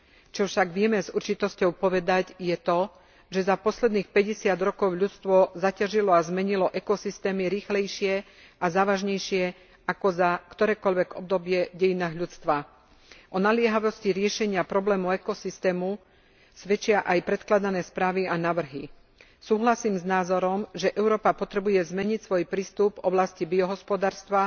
Čo však vieme už s určitosťou povedať je to, že za posledných 50 rokov ľudstvo zaťažilo a zmenilo ekosystémy rýchlejšie a závažnejšie ako za ktorékoľvek obdobie v dejinách ľudstva. O naliehavosti riešenia problému ekosystému svedčia aj predkladané správy a návrhy. Súhlasím s názorom, že Európa potrebuje zmeniť svoj prístup v oblasti biohospodárstva